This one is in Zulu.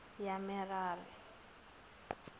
yamerari